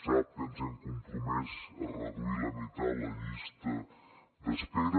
sap que ens hem compromès a reduir a la meitat la llista d’espera